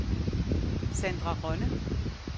Sandra Rønne